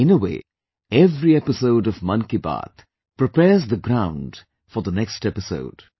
In a way, every episode of Mann Ki Baat prepares the ground for the next episode